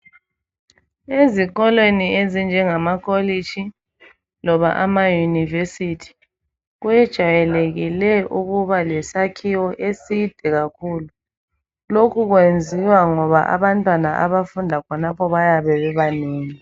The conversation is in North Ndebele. Ezikolweni ezinjegama kolishi loba ama yunivesithi kwejayeleke ukuba lesakhiwo eside kakhulu lokhu kuyenziwa ngoba abantwana abafunda khonapho bayabe bebanengi.